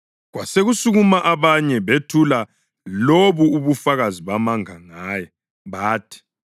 Kwasekusukuma abanye bethula lobu ubufakazi bamanga ngaye, bathi,